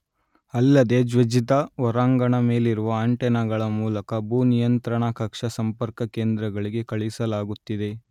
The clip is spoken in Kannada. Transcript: ಅಲ್ಲದೇ ಜ್ವೆಜ್ದ ಹೊರಾಂಗಣ ಮೇಲಿರುವ ಆಂಟೆನಗಳ ಮೂಲಕ ಭೂ ನಿಯಂತ್ರಣಾ ಕಕ್ಷಾ ಸಂಪರ್ಕ ಕೇಂದ್ರಗಳಿಗೆ ಕಳಿಸಲಾಗುತ್ತಿದೆ